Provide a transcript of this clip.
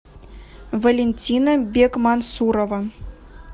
валентина бекмансурова